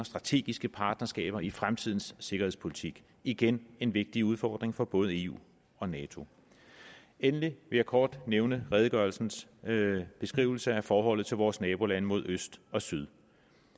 strategiske partnerskaber i fremtidens sikkerhedspolitik igen en vigtig udfordring for både eu og nato endelig vil jeg kort nævne redegørelsens beskrivelse af forholdet til vores nabolande mod øst og syd